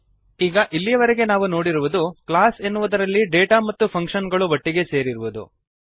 ಈಗ ಇಲ್ಲಿಯವರೆಗೆ ನಾವು ನೋಡಿರುವುದು ಕ್ಲಾಸ್ ಎನ್ನುವುದರಲ್ಲಿ ಡೇಟಾ ಮತ್ತು ಫಂಕ್ಶನ್ ಗಳು ಒಟ್ಟಿಗೆ ಸೇರಿರುವುದು